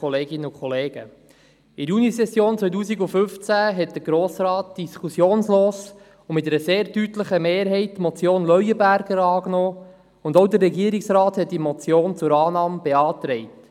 In der Junisession 2015 nahm der Grosse Rat diskussionslos und mit einer sehr deutlichen Mehrheit die Motion Leuenberger an, und auch der Regierungsrat hatte diese Motion zur Annahme beantragt.